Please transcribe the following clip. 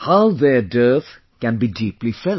how their dearth can be deeply felt